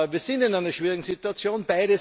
Wir sind in einer schwierigen Situation.